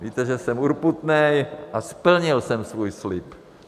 Víte, že jsem urputný a splnil jsem svůj slib.